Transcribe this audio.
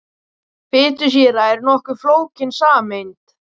Fitusýra er nokkuð flókin sameind.